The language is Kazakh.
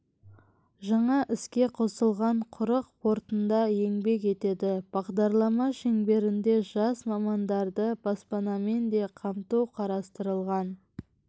жаңа іске қосылған құрық портында еңбек етеді бағдарлама шеңберінде жас мамандарды баспанамен де қамту қарастырылған